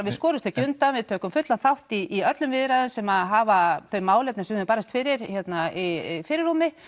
við skorumst ekki undan við tökum fullan þátt í öllum viðræðum sem hafa þau málefni sem við höfum barist fyrir í fyrirrúmi